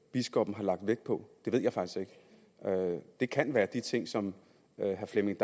biskoppen har lagt vægt på det kan være de ting som herre flemming